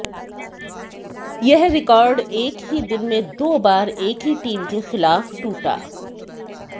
यह रिकॉर्ड एक ही दिन में दो बार एक ही टीम के खिलाफ टूटा